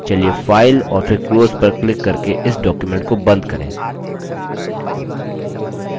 चलिए file और फिर close पर क्लिक करके इस document को बंद करें